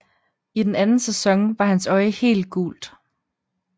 I den anden sæson var hans øje helt gult